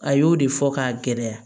A y'o de fɔ k'a gɛlɛya